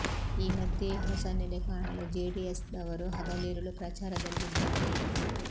ಈ ಮಧ್ಯೇ ಹೊಸ ನೆಲೆ ಕಾಣಲು ಜೆಡಿಎಸ್ ದವರು ಹಗಲಿರುಳು ಪ್ರಚಾರದಲ್ಲಿದ್ದಾರೆ